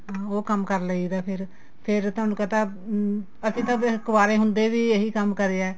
ਉਹ ਕੰਮ ਕਰ ਲਈ ਦਾ ਫੇਰ ਤੁਹਾਨੂੰ ਪਤਾ ਅਸੀਂ ਤਾਂ ਫੇਰ ਕੁਆਰੇ ਹੁੰਦੇ ਵੀ ਇਹੀ ਕੰਮ ਕਰਿਆ